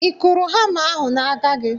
Ị kụrụ hama ahụ n'aka gị?